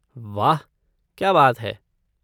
वाह, क्या बात है!